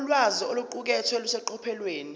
ulwazi oluqukethwe luseqophelweni